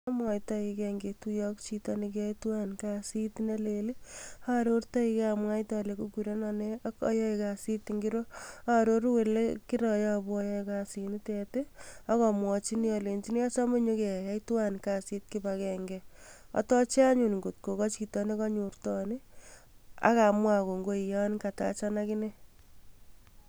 Amwataigei ngetuiye ak chito ne kiyae tuwai kasit ne leel arorteigei amwaite ale kikureno nee ak ayae kasit ngiro aaroru ole kiroyobu ayae kasit nitet ak amwachini alejini achame nyekeyai tuwan kasit kibagenge atache achun kot kochito ne kanyortoon ii ak amwa kongoi yan katachan akine.